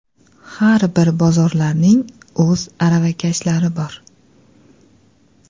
Har bir bozorlarning o‘z aravakashlari bor.